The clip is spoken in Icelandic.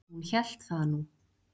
Hún hélt það nú!